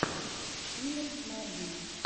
филип марвин